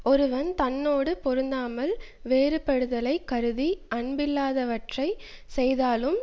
ஒருவன் தன்னோடு பொருந்தாமல் வேறுபடுதலைக் கருதி அன்பில்லாதவற்றைச் செய்தாலும்